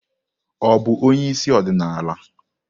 Ọ bụ onye isi ọdịnala?